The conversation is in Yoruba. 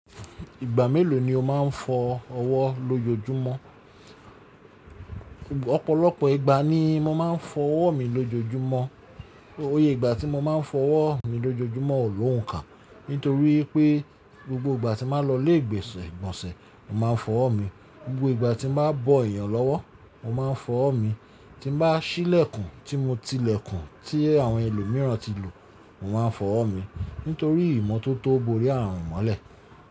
Ìgbà mélòó ni o máa ń fọ ọwọ́ lójoojúmọ́? Ọ̀pọ̀lọpọ̀ ìgbà ni mo máa ń fọ ọwọ́ mi lójoojúmọ́. O yè ìgbà tí mo máa ń fọ ọwọ́ mi lójoojúmọ́ ò lóhùn ká. Nítorí pé, gbogbo ìgbà tí bàá lọ ilé ìgbésẹ̀ ìgbọ̀nsẹ̀, mò máa ń fọ ọwọ́ mi; gbogbo ìgbà tí mo bàá bọ ẹ̀yàn lọ́wọ́, mò máa ń fọ ọwọ́ mi; tí n ba ṣí ilẹ̀kùn, tí mo tilẹ̀kùn tí àwọn ẹlòmíràn ti lò, mò máa ń fọ ọwọ́ mi. Nítorí ìmọ́tótó borí ààrùn mọ́lẹ̀.